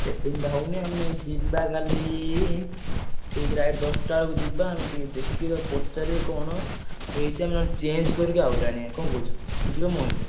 Setting ଟା ହଉନି ଆମେ ଯିବା କାଲି ଠିକ୍ right ଦଶଟା ବେଳକୁ ଯିବା ଆମେ ଟିକେ ଦେଖିବା ~ପ ~ଚାରି କଣ ହେଇଛି, ଆମେ ନହେଲେ change କରିକି ଆଉ ଗୋଟେ ଆଣିଆ, କଣ କହୁଛ ଯିବ ମୋ ସହିତ?